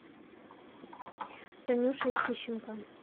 танюшей тищенко